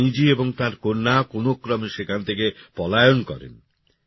রানীজী এবং তাঁর কন্যা কোনক্রমে সেখান থেকে পলায়ন করেন